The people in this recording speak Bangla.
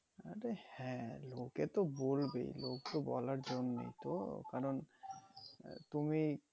অরে হ্যাঁ লোকে তো বলবেই লোক তো বলার জন্য তো কারণ তুমি